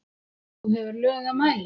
þú hefur lög að mæla